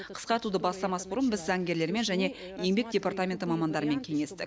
қысқартуды бастамас бұрын біз заңгерлермен және еңбек департаменті мамандарымен кеңестік